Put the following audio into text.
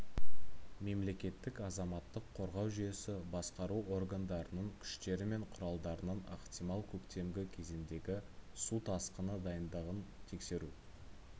мемлекеттік азаматтық қорғау жүйесі басқару органдарының күштері мен құралдарының ықтимал көктемгі кезеңіндегі су тасқыны дайындығын тексеру